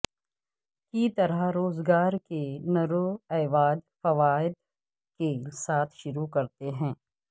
کی طرح روزگار کے نروئواد فوائد کے ساتھ شروع کرتے ہیں